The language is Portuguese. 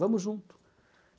Vamos junto.